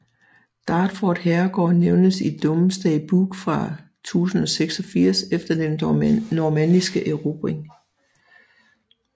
Dartford herregård nævnes i Domesday Book fra 1086 efter den normanniske erobring